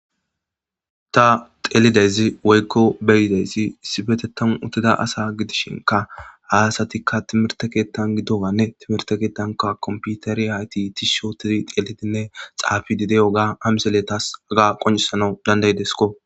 Ta xeellizayssi woyko beyidaysi issipetethan utida asati issi timirte kethan xellidaysi woyko beyidaysi issipetethan uttida asa gidishin ha asatika timirte kethan gido gane kompiteret tishi otidi xellishene xafidi de'iyaga ha misiley qonccisanaw dandayifesko